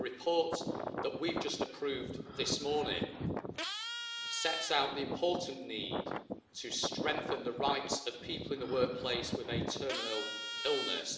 The report that we have just approved this morning sets out the important need to strengthen the rights of people in the workplace with a terminal illness.